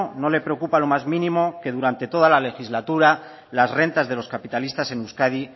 no le preocupa lo más mínimo que durante toda la legislatura las rentas de los capitalistas en euskadi